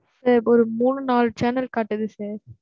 sir ஒரு மூணு, நாலு channel காட்டுது sir.